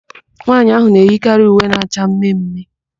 Nwaanyị ahụ na-eyikarị uwe na-acha mme mme.